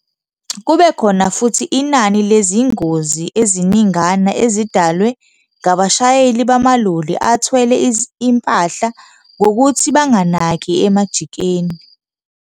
Kube khona futhi inani lezingozi eziningana ezidalwe ngabashayeli bamaloli athwele impahla ngokuthi banganaki emajikeni.